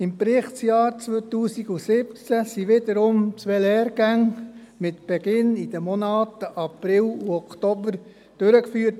Im Berichtsjahr 2017 wurden wiederum zwei Lehrgänge mit Beginn in den Monaten April und Oktober durchgeführt.